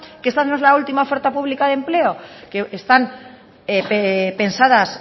que esa no es última oferta pública de empleo que están pensadas